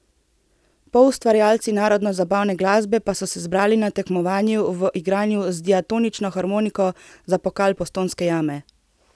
Poustvarjalci narodno zabavne glasbe pa so se zbrali na tekmovanju v igranju z diatonično harmoniko za pokal Postojnske jame.